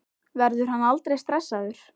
Verður hann aldrei stressaður?